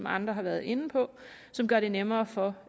andre har været inde på som gør det nemmere for